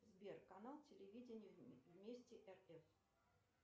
сбер канал телевидения вместе рф